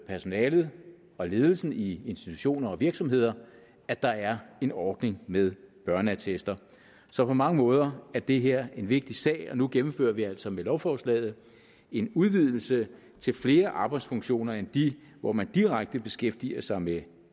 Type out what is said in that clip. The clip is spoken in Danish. personalet og ledelsen i institutioner og virksomheder at der er en ordning med børneattester så på mange måder er det her en vigtig sag og nu gennemfører vi altså med lovforslaget en udvidelse til flere arbejdsfunktioner end de hvor man direkte beskæftiger sig med